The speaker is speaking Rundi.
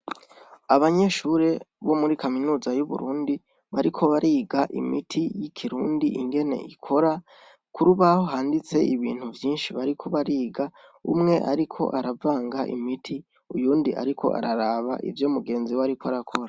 Abanyeshure bo muri Kaminuza y'Uburundi bariko bariga imiti y'ikirundi ingene ikora, kurubaho handitse ibintu vyinshi bariko bariga , umwe ariko aravanga imiti, uwundi ariko araraba ivyo mugenziwe ariko arakora